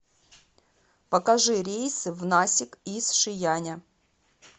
покажи рейсы в насик из шияня